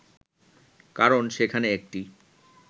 কারণ সেখানে একটি